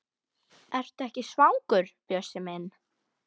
Ertu ekki orðinn svangur, Bjössi minn?